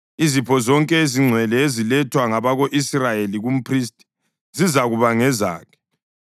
Izipho zonke ezingcwele ezilethwa ngabako-Israyeli kumphristi zizakuba ngezakhe.